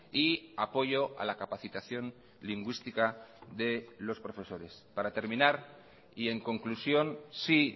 y apoyo a la capacitación lingüística de los profesores para terminar y en conclusión sí